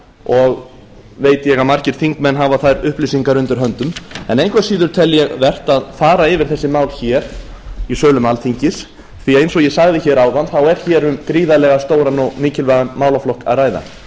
og veit ég að margir þingmenn hafa þær upplýsingar undir höndum en engu að síður tel ég vert að fara yfir þessi mál hér í sölum alþingis því eins og ég sagði áðan er hér um gríðarlega stóran og mikilvægan málaflokk að ræða